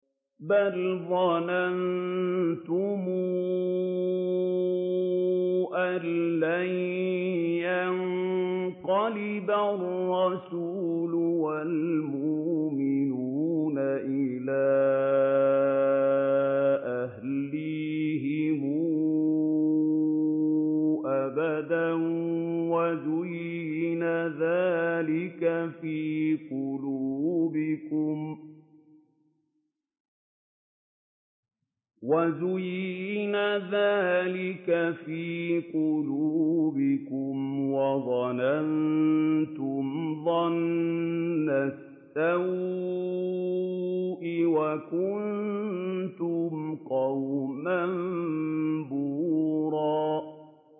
بَلْ ظَنَنتُمْ أَن لَّن يَنقَلِبَ الرَّسُولُ وَالْمُؤْمِنُونَ إِلَىٰ أَهْلِيهِمْ أَبَدًا وَزُيِّنَ ذَٰلِكَ فِي قُلُوبِكُمْ وَظَنَنتُمْ ظَنَّ السَّوْءِ وَكُنتُمْ قَوْمًا بُورًا